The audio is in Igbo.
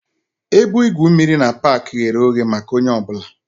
Ebe igwu mmiri na pak ghere oghe maka onye ọ bụla